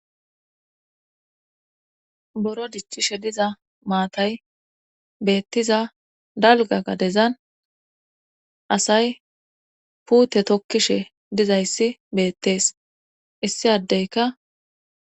Boro dichishe diza maatay beettiza dalga gadezan asay puute tokkishe dizayssi beettees issi addeyka.